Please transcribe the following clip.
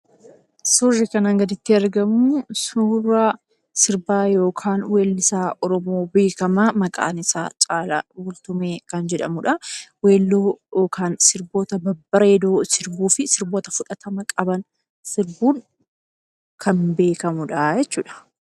Suurri kanaa gaditti argamu, suura sirbaa yookaan weellisaa Oromoo beekamaa maqaan isaa Caalaa Bultumee kan jedhamudha. Weelluu yookaan sirboota babbareedoo sirbuu fi sirboota fudhatama qaban sirbuun kan beekamudha jechuudha.